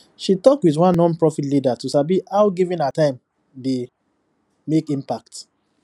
she talk with one nonprofit leader to sabi how giving her time dey make impact